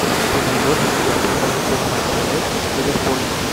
ты найдешь у себя прямой эфир матча лестер с ливерпулем